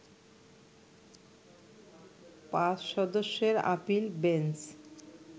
৫ সদস্যের appeal bench